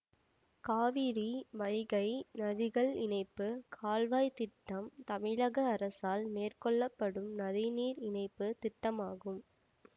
காவிரி வைகை நதிகள் இணைப்பு கால்வாய் திட்டம் தமிழக அரசால் மேற்கொள்ள படும் நதி நீர் இணைப்பு திட்டமாகும்